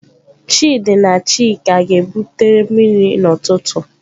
Chidi na chika ga-ebutere mmiri n'ututu.